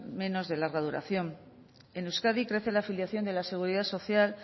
menos de larga duración en euskadi crece la afiliación de la seguridad social